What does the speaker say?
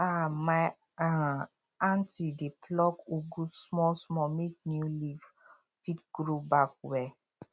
um my um aunty dey pluck ugu small small make new leaf fit grow back well